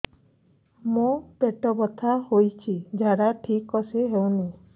ମୋ ପେଟ ବଥା ହୋଉଛି ଝାଡା ଠିକ ସେ ହେଉନି